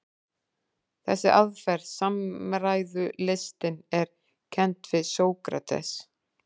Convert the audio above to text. Þessi aðferð, samræðulistin, er kennd við Sókrates.